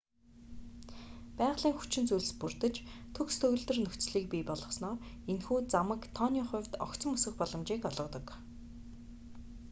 байгалийн хүчин зүйлс бүрдэж төгс төгөлдөр нөхцөлийг бий болгосноор энэхүү замаг тооны хувьд огцом өсөх боломжийг олгодог